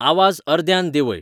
आवाज अर्द्यान देंवय